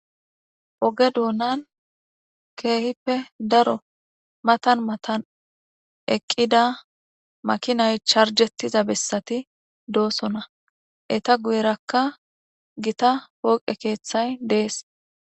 Oge donaan keehippe daro mathan mathan eqida makinay charjethida bessathi doosona etha guyeerka githa pooqe keethay dees.